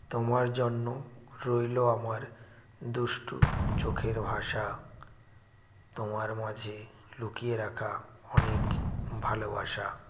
তোমার জন্য রইল আমার দুষ্টু চোখের ভাষা তোমার মাঝে লুকিয়ে রাখা অনেক ভালোবাসা